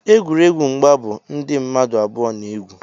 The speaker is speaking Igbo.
egwuregwu mgba bụ ndị mmadụ abụọ na-egwu